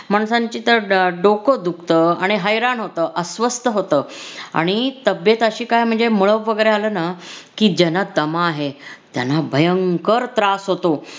माणसांची तर डोकं दुखत आणि हैराण होत अस्वस्थ होत. आणि तब्बेत अशी काय म्हणजे मलब वगैरे आलं न की ज्याला दमा आहे त्यांना भयंकर त्रास होतो.